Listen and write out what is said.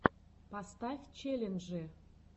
поставь челленджи